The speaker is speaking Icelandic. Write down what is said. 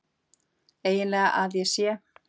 EIGINLEGA AÐ ÉG SÉ?!